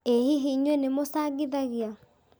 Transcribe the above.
ĩ hihi inyuĩ nĩ mũcangithagia?